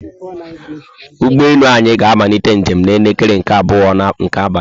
ụgbọelu anyị ga amalite njem na elekere nke abụọ nke abalị